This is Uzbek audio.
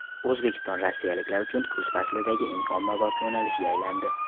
O‘zbekiston rossiyaliklar uchun kuz faslidagi eng ommabop yo‘nalishga aylandi.